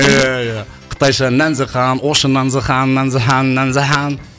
иә иә қытайша нәнзі хан орысша нанзы хан нанзы хан нанзы хан